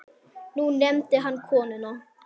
Nú nefndi hann konuna